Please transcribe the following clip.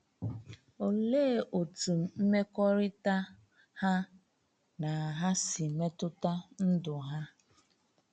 Olee otú mmekọrịta ha na Ha si metụta ndụ ha?